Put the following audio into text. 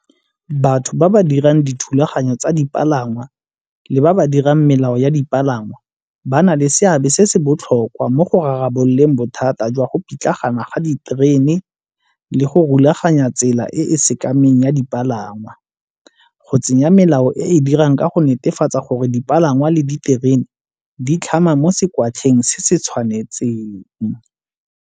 Batho ba ba dirang dithulaganyo tsa dipalangwa le ba ba dirang melao ya dipalangwa ba na le seabe se se botlhokwa mo go rarabololeng bothata jwa go pitlagana ga diterene le go rulaganya tsela e e sekameng ya dipalangwa. Go tsenya melao e e dirang ka go netefatsa gore dipalangwa le diterene di tlhama mo se se tshwanetseng.